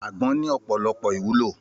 Àgbọ̀n ní ọ̀pọ̀lọpọ̀ ìwúlò